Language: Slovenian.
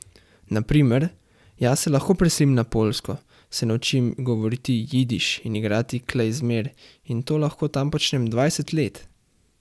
Na primer, jaz se lahko preselim na Poljsko, se naučim govoriti jidiš in igrati klezmer in to lahko tam počnem dvajset let.